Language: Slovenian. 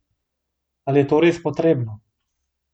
Ali je to res potrebno?